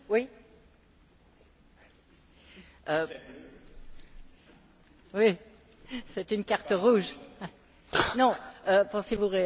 Pensez vous réellement, Monsieur Verhofstadt, que c'est simplement une question d'élection américaine alors que, à la convention démocrate, M. Obama vient de se targuer, justement, d'avoir mis fin à deux guerres?